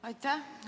Aitäh!